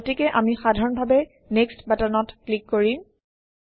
গতিকে আমি সাধাৰণভাৱে নেক্সট বাটনত ক্লিক কৰিম